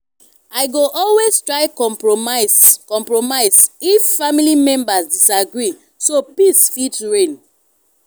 i go always try compromise compromise if family members disagree so peace fit reign.